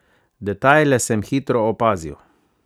Detajle sem hitro opazil.